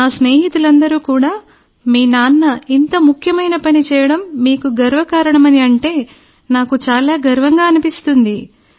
నా స్నేహితులందరూ కూడా మీ నాన్న ఇంత ముఖ్యమైన పని చేయడం మీకు గర్వ కారణమని అంటే నాకు చాలా గర్వంగా అనిపిస్తుంది